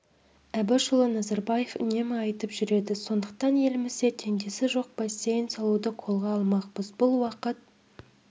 әбішұлы назарбаев үнемі айтып жүреді сондықтан елімізде теңдесі жоқ бассейн салуды қолға алмақпыз бұл уақыт